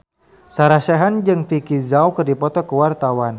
Sarah Sechan jeung Vicki Zao keur dipoto ku wartawan